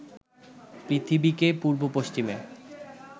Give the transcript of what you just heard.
পৃথিবীকে পূর্ব পশ্চিমে